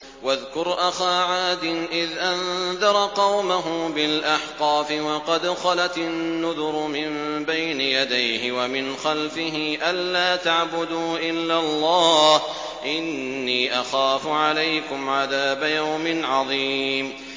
۞ وَاذْكُرْ أَخَا عَادٍ إِذْ أَنذَرَ قَوْمَهُ بِالْأَحْقَافِ وَقَدْ خَلَتِ النُّذُرُ مِن بَيْنِ يَدَيْهِ وَمِنْ خَلْفِهِ أَلَّا تَعْبُدُوا إِلَّا اللَّهَ إِنِّي أَخَافُ عَلَيْكُمْ عَذَابَ يَوْمٍ عَظِيمٍ